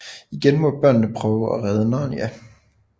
Igen må børnene prøve at redde Narnia